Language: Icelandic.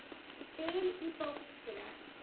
Spil í bókina.